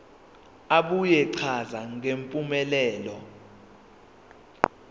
abuye achaze ngempumelelo